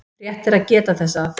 Rétt er að geta þess að